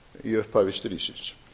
í upphafi stríðsins